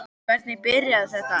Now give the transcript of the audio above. En hvernig byrjaði þetta allt?